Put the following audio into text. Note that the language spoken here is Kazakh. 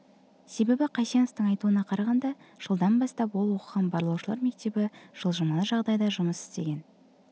себебі қайсеновтің айтуына қарағанда жылдан бастап ол оқыған барлаушылар мектебі жылжымалы жағдайда жұмыс істеген